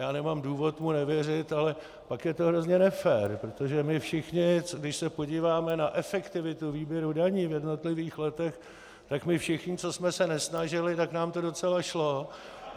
Já nemám důvod mu nevěřit, ale pak je to hrozně nefér, protože my všichni, když se podíváme na efektivitu výběru daní v jednotlivých letech, tak my všichni, co jsme se nesnažili, tak nám to docela šlo.